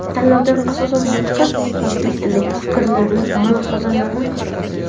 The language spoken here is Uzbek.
Tanlovdan asosiy maqsad: o‘zbek tilidagi fikrlarni, mulohazalarni ko‘paytirish.